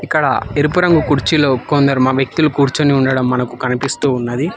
అక్కడ ఎరుపు రంగు కుర్చీలో కొందరు వ్యక్తులు కూర్చొని ఉండడం మనకు కనిపిస్తూ ఉన్నది.